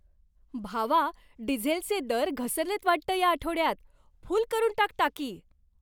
भावा, डिझेलचे दर घसरलेत वाटतं या आठवड्यात. फुल करून टाक टाकी.